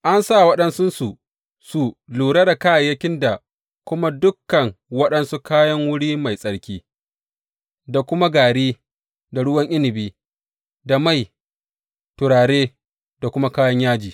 An sa waɗansu su lura da kayayyakin da kuma dukan waɗansu kayan wuri mai tsarki, da kuma gari da ruwan inabi, da mai, turare da kuma kayan yaji.